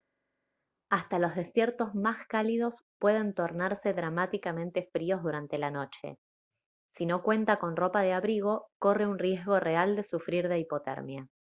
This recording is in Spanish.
hasta los desiertos más cálidos pueden tornarse dramáticamente fríos durante la noche si no cuenta con ropa de abrigo corre un riesgo real de sufrir de hipotermia